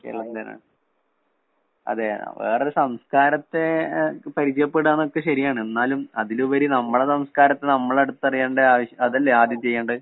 കേരളത്തിലാണ്. അത് വേറൊരു സംസ്കാരത്തെ ഏഹ് പരിചയപ്പെടാന്നൊക്കെ ശെരിയാണ്. എന്നാലും അതിലുപരി നമ്മളെ സംസ്കാരത്തെ നമ്മളടുത്തറിയണ്ട ആവശ് അതല്ലേ ആദ്യം ചെയ്യേണ്ടത്?